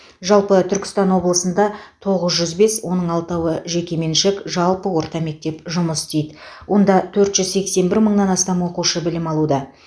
жалпы түркістан облысында тоғыз жүз бес оның алтауы жекеменшік жалпы орта мектеп жұмыс істейді онда төрт жүз сексен бір мыңнан астам оқушы білім алуда